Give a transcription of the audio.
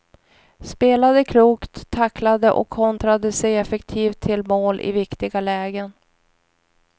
Spelade klokt, tacklade och kontrade sig effektivt till mål i viktiga lägen.